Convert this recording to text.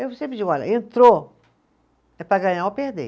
Eu sempre digo, olha, entrou, é para ganhar ou perder.